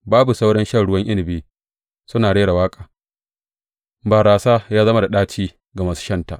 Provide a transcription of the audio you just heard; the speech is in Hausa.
Babu sauran shan ruwan inabi suna rera waƙa; barasa ya zama da ɗaci ga masu shanta.